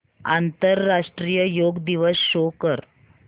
आंतरराष्ट्रीय योग दिवस शो कर